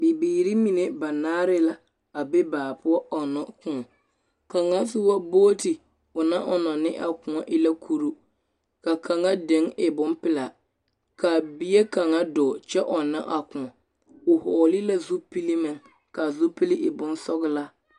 Bibiiri mine banaare la a be baa poɔ ɔnna kõɔ. Kaŋa soba booti o naŋ ɔnnɔ ne a kõɔ e la kuru, ka kaŋa den e bompelaa. Kaa bie kaŋa dɔɔ kyɛ ɔnna a kõɔ. O hɔɔlel la zupili meŋ, kaa zupele e bosɔglaa.